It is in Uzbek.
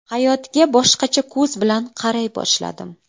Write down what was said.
Hayotga boshqacha ko‘z bilan qaray boshladim.